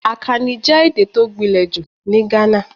Akani jẹ́ èdè tó gbinle jù ní Ghana.